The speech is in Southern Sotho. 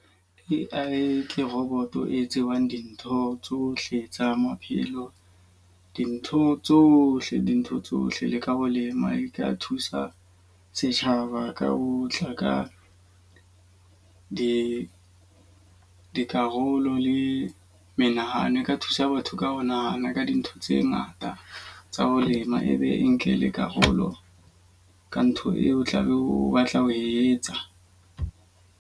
A_I ke roboto e tsebang dintho tsohle tsa maphelo, dintho tsohle dintho tsohle le ka ho lema di ka thusa setjhaba ka otla ka di dikarolo le menahano. E ka thusa batho ka ho nahana ka dintho tse ngata tsa ho lema. E be ntle le karolo ka ntho eo o tla be o batla ho etsa.